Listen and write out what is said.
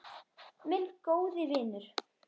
Minn góði vinur.